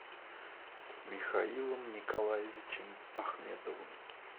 михаилом николаевичем ахметовым